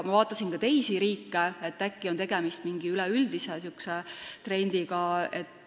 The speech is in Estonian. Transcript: Ma vaatasin ka teisi riike, et äkki on tegemist mingi üleüldise trendiga.